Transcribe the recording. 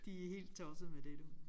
De er helt tosset med det du